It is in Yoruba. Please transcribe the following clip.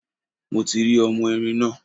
Mo ti rí ọmọ erin náà.